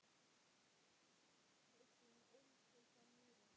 Kristín ólst upp á Mýri.